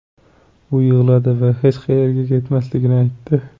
U yig‘ladi va hech qayerga ketmasligini aytdi.